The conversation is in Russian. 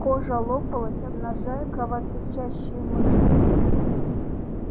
кожа лопалась обнажая кровоточащие мышцы